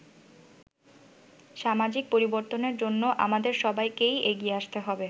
সামাজিক পরিবর্তনের জন্য আমাদের সবাইকেই এগিয়ে আসতে হবে”।